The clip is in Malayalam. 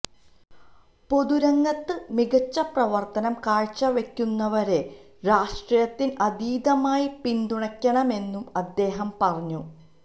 പൊതുരംഗത്ത് മികച്ച പ്രവര്ത്തനം കാഴ്ചവയ്ക്കുന്നവരെ രാഷ്ട്രീയത്തിന് അതീതമായി പിന്തുണക്കണമെന്നും അദ്ദേഹം പറഞ്ഞു